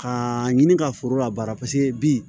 K'aa ɲini ka foro labaara paseke bi